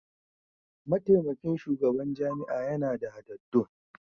Mataimakin shugaban jami'a yana da hadaddun.